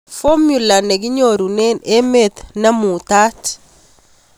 Fomula ne kinyorunen emet ne muutat